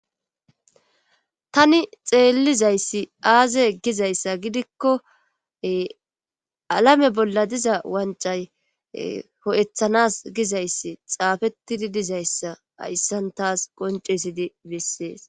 tani xeellizayssi aaze gizayssa gidikko alame bolla diza wancay ho7ethanas gizayssi xaafettidi dizayssa hayssan taas qoncesidi bessees